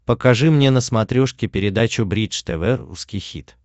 покажи мне на смотрешке передачу бридж тв русский хит